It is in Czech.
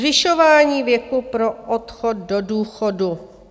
Zvyšování věku pro odchod do důchodu.